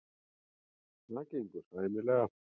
Það gengur sæmilega.